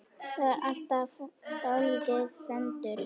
Þetta var alltaf dálítið föndur.